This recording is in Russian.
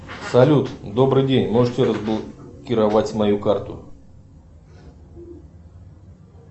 салют добрый день можете разблокировать мою карту